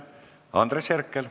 Andres Herkel.